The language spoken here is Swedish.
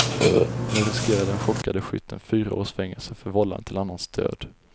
Nu riskerar den chockade skytten fyra års fängelse för vållande till annans död.